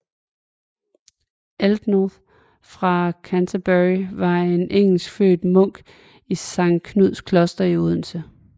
Ælnoth fra Canterbury var en engelskfødt munk i Sankt Knuds Kloster i Odense